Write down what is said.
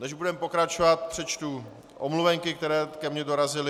Než budeme pokračovat, přečtu omluvenky, které ke mně dorazily.